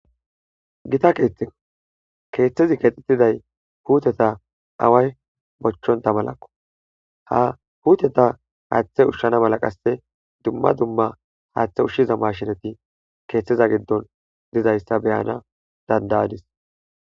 Gita keeththe keeththezi kexxitiday huuteta away bochchonta malakko ha huuteta haaththe ushshana mala qasse dumma dumma haaththe ushshiza mashinati keeththiza giddon dizayssa beyana dandayadis.